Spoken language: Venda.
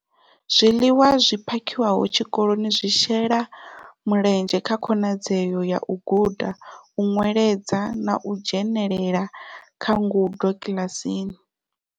Zwiḽiwa zwi phakhiwaho tshikoloni zwi shela mulenzhe kha khonadzeo ya u guda, u nweledza na u dzhenela kha ngudo kiḽasini.